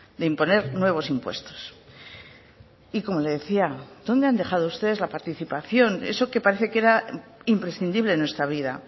de imponer nuevos impuestos y como le decía dónde han dejado ustedes la participación eso que parece que era imprescindible en nuestra vida